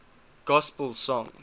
gospel songs